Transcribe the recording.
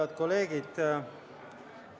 Head kolleegid!